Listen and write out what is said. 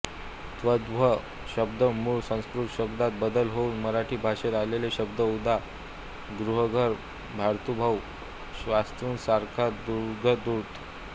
तद्भव शब्द मूळ संस्कृत शब्दात बदल होऊन मराठी भाषेत आलेले शब्द उदा गृहघर भातृभाऊ श्वशुरसासरादुुग्धदूूध